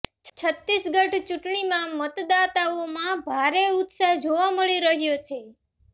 છત્તીસગઢ ચૂંટણીમાં મતદાતાઓમાં ભારે ઉત્સાહ જોવા મળી રહ્યો છે